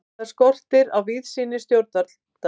Þar skortir á víðsýni stjórnvalda.